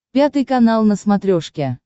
пятый канал на смотрешке